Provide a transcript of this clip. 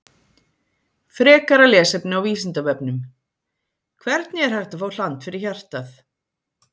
Frekara lesefni á Vísindavefnum: Hvernig er hægt að fá hland fyrir hjartað?